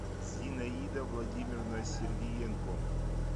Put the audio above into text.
зинаида владимировна сергиенко